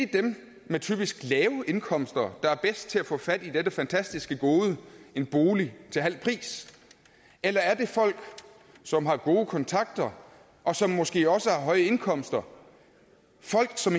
dem med typisk lave indkomster der er bedst til at få fat i dette fantastiske gode en bolig til halv pris eller er det folk som har gode kontakter og som måske også har høje indkomster folk som